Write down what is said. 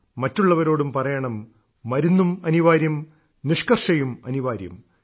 മറ്റുള്ളവരോടു പറയണം മരുന്നും അനിവാര്യം നിഷ്ക്കർഷയും അനിവാര്യം